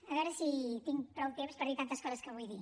a veure si tinc prou temps per dir tantes coses que vull dir